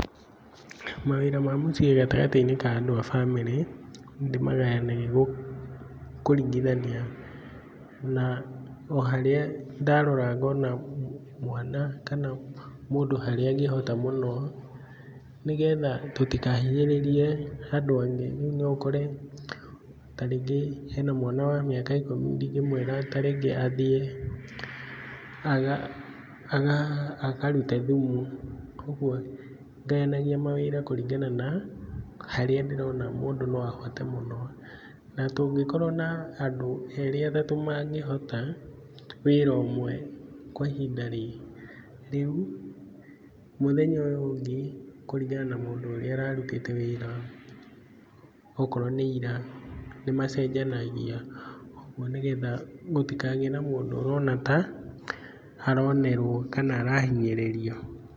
Mawĩra ma mũciĩ gatagatĩ-inĩ ka andũ a bamĩrĩ, ndĩmagayanagia kũringithania o harĩa ndarora ngona mwana, kana mũndũ harĩa arahota mũno, nĩgetha tũtikahinyĩrĩrie andũ angĩ. Rĩu no ũkore ta rĩngĩ hena mwana wa mĩaka ikũmi, ndingĩmwĩra ta rĩngĩ athiĩ akarute thumu. Koguo ngayanagia mawĩra kũringana na harĩa ndĩrona mũndũ no ahote mũno. Na tũngĩkorwo na andũ erĩ atatũ mangĩhota wĩra ũmwe kwa ihinda rĩu, mũthenya ũyũ ũngĩ, kũringana na mũndũ ũrĩa ũrarutĩte wĩra okorwo nĩ ira, nĩmacenjanagia ũgũo nĩgetha gũtikagĩe na mũndũ ũrona ta aronerwo kana arahinyĩrĩrio.